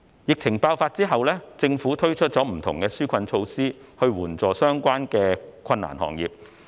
疫情爆發後，政府推出不同的紓困措施以援助相關的困難行業。